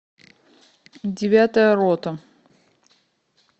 девятая рота